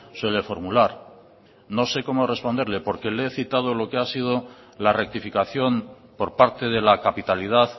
suele formular no sé cómo responderle porque le he citado lo que ha sido la rectificación por parte de la capitalidad